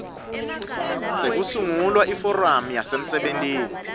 sekusungula iforamu yasemsebentini